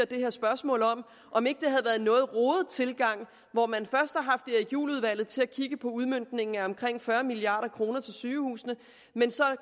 det her spørgsmål om om ikke det havde været en noget rodet tilgang hvor man først havde erik juhl udvalget til at kigge på udmøntningen af omkring fyrre milliard kroner til sygehusene men så